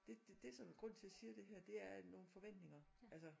Det det det sådan grunden til jeg siger det her det er at nogle forventninger altså